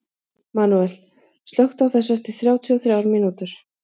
Manuel, slökktu á þessu eftir þrjátíu og þrjár mínútur.